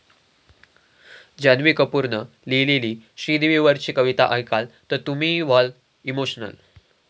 जान्हवी कपूरनं लिहिलेली श्रीदेवीवरची कविता ऐकाल तर तुम्हीही व्हाल इमोशनल